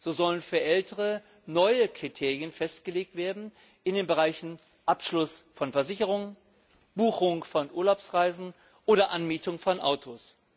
So sollen für Ältere neue Kriterien festgelegt werden in den Bereichen Abschluss von Versicherungen, Buchung von Urlaubsreisen oder Anmietung von Autos.